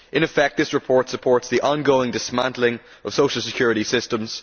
In effect, this report supports the on going dismantling of social security systems.